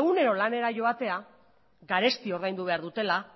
egunero lanera joatea garesti ordaindu behar dutela